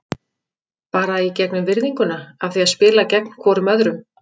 Bara í gegnum virðinguna af því að spila gegn hvorum öðrum.